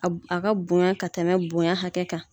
A a ka bonya ka tɛmɛ bonya hakɛ kan